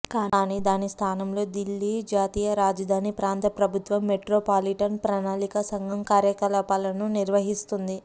కానీ దాని స్థానంలో దిల్లీ జాతీయ రాజధాని ప్రాంత ప్రభుత్వం మెట్రో పాలిటన్ ప్రణాళికా సంఘం కార్యకలాపాలను నిర్వహిస్తుంది